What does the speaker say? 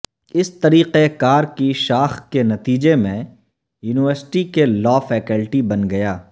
اس طریقہ کار کی شاخ کے نتیجے میں یونیورسٹی کے لاء فیکلٹی بن گیا